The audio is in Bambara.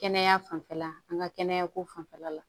Kɛnɛya fanfɛla an ka kɛnɛya ko fanfɛla la